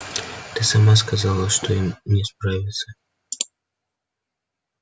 ты сама сказала что им не справиться